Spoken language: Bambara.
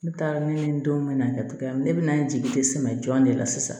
Ne taara ne ni n denw na kɛ cogo min ne bɛ na n jigi dɛsɛ jɔn de la sisan